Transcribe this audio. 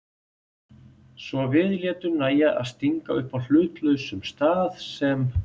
Svo við létum nægja að stinga upp á hlutlausum stað sem